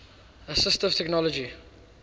assistive technology